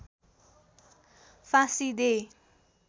फाँसी दे